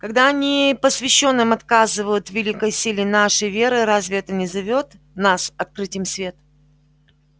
когда непосвящённым отказывают в великой силе нашей веры разве это не зовёт нас открыть им свет